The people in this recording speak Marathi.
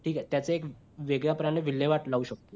ठीक आहे त्याच एक वेगळं प्रमाणे विल्हेवाट लावू शकतो